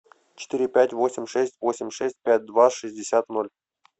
четыре пять восемь шесть восемь шесть пять два шестьдесят ноль